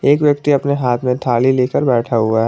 एक व्यक्ति अपने हाथ में थाली लेकर बैठा हुआ है।